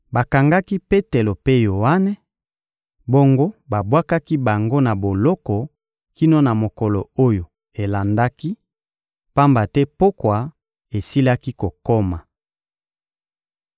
Bakangaki Petelo mpe Yoane, bongo babwakaki bango na boloko kino na mokolo oyo elandaki, pamba te pokwa esilaki kokoma.